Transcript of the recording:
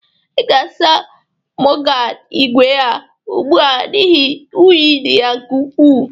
I ga-asa mọdgaad igwe a ugbu a n'ihi unyi dị ya nke ukwu.